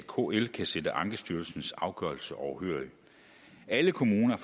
kl kan sidde ankestyrelsens afgørelse overhørig alle kommuner